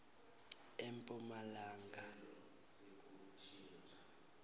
emphumalanga